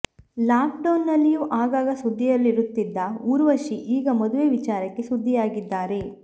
lock down ನಲ್ಲಿಯೂ ಆಗಾಗ ಸುದ್ದಿಯಲ್ಲಿರುತ್ತಿದ್ದ ಊರ್ವಶಿ ಈಗ ಮದುವೆ ವಿಚಾರಕ್ಕೆ ಸುದ್ದಿಯಾಗಿದ್ದಾರೆ